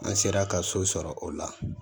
An sera ka so sɔrɔ o la